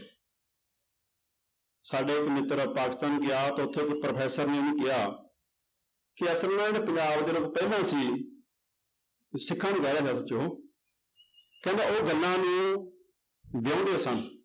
ਸਾਡਾ ਇੱਕ ਮਿੱਤਰ ਪਾਕਿਸਤਾਨ ਗਿਆ ਤੇ ਉੱਥੇ ਇੱਕ ਪ੍ਰੋਫ਼ੈਸ਼ਰ ਨੇ ਉਹਨੂੰ ਕਿਹਾ ਪੰਜਾਬ ਜਦੋਂ ਪਹਿਲਾਂ ਸੀ ਸਿੱਖਾਂ ਨੂੰ ਕਹਿ ਰਿਹਾ ਕਹਿੰਦਾ ਉਹ ਗੱਲਾਂ ਨੂੰ ਵਿਆਹੁੰਦੇ ਸਨ।